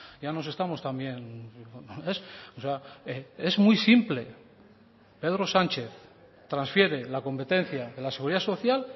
ya nos estamos también o sea es muy simple pedro sánchez transfiere la competencia de la seguridad social